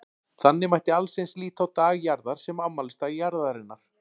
Þannig mætti allt eins líta á Dag Jarðar sem afmælisdag Jarðarinnar.